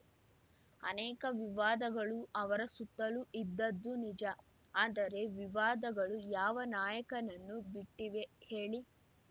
ಅನೇಕ ವಿವಾದಗಳು ಅವರ ಸುತ್ತಲೂ ಇದ್ದದ್ದು ನಿಜ ಆದರೆ ವಿವಾದಗಳು ಯಾವ ನಾಯಕನನ್ನು ಬಿಟ್ಟಿವೆ ಹೇಳಿ